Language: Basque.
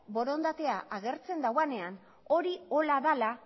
borondatea agertzen duenean hori horrela dela